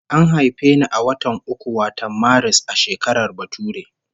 An haife ni a watan uku wato Maris, a shekarar bature